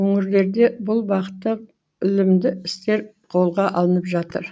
өңірлерде бұл бағытта ілімді істер қолға алынып жатыр